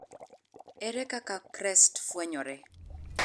Ere kaka CREST fwenyore?